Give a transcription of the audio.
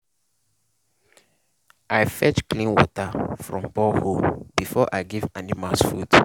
i fetch clean water from borehole before i give animals food.